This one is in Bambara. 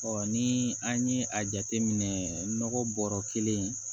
ni an ye a jateminɛ nɔgɔ bɔrɔ kelen